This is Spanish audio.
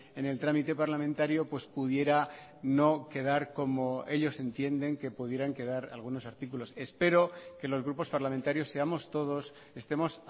en el trámite parlamentario pues pudiera no quedar como ellos entienden que pudieran quedar algunos artículos espero que los grupos parlamentarios seamos todos estemos